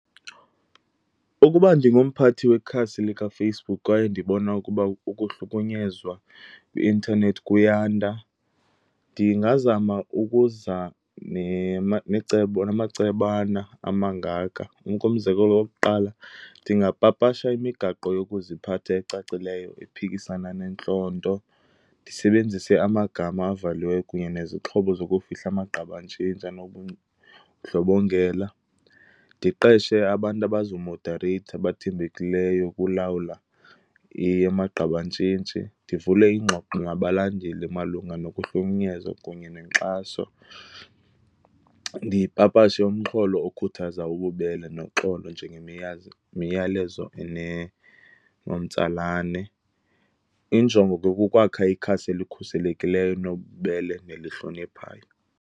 Ukuba ndingumphathi wekhasi likaFacebook kwaye ndibona ukuba ukuhlukunyezwa kwi-intanethi kuyanda ndingazama ukuza necebo namacebana amangaka. Umzekelo wokuqala, ndingapapasha imigaqo yokuziphatha ecacileyo ephikisana nentlonto, ndisebenzise amagama avaliweyo kunye nezixhobo zokufihla amagqabantshintshi anobundlobongela. Ndiqeshe abantu abazomodareyitha, abathembekileyo ukulawula amagqabantshintshi. Ndivule iingxoxo nabalandeli malunga nokuhlukunyezwa kunye nenkxaso. Ndipapashe umxholo okhuthaza ububele noxolo njengemiyalezo enomtsalane. Injongo ke kukwakha ikhasi elikhuselekileyo, nobubele nelihloniphayo.